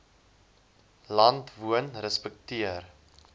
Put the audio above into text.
land woon respekteer